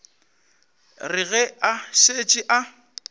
re ge a šetše a